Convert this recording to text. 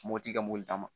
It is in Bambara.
Mopti ka mobili